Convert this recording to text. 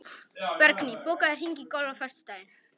Bergný, bókaðu hring í golf á föstudaginn.